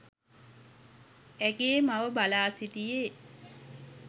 ඇගේ මව බලා සිටියේ